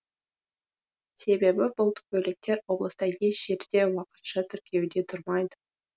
себебі бұл көліктер облыста еш жерде уақытша тіркеуде тұрмайды